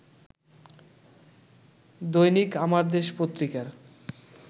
দৈনিক আমার দেশ পত্রিকার